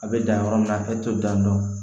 A bɛ dan yɔrɔ min na a tɛ to dandɔn